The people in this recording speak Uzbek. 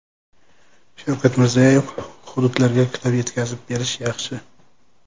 Shavkat Mirziyoyev: Hududlarga kitob yetkazib berish yaxshi.